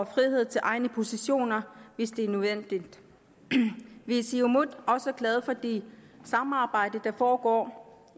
frihed til egne positioner hvis det er nødvendigt vi i siumut er også glade for det samarbejde der foregår